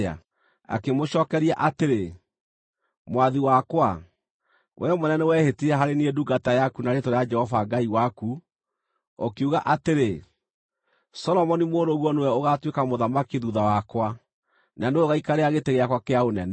Akĩmũcookeria atĩrĩ, “Mwathi wakwa, wee mwene nĩwehĩtire harĩ niĩ ndungata yaku na rĩĩtwa rĩa Jehova Ngai waku, ũkiuga atĩrĩ: ‘Solomoni mũrũguo nĩwe ũgaatuĩka mũthamaki thuutha wakwa, na nĩwe ũgaikarĩra gĩtĩ gĩakwa kĩa ũnene.’